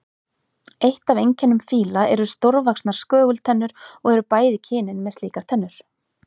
Eitt af einkennum fíla eru stórvaxnar skögultennur og eru bæði kynin með slíkar tennur.